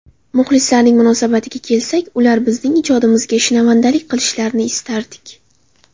Muxlislarning munosabatiga kelsak, ular bizning ijodimizga shinavandalik qilishlarini istardik”.